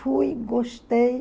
Fui, gostei.